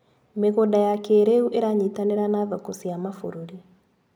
Mĩgũnda ya kĩrĩu iranyitanĩra na thoko cia mabũrũri.